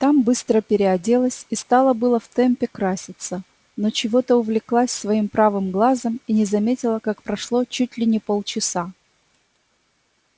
там быстро переоделась и стала было в темпе краситься но чего-то увлеклась своим правым глазом и не заметила как прошло чуть ли не пол часа